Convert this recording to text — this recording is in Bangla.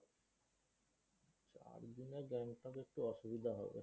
মনে হয় Gangtok একটু অসুবিধা হবে।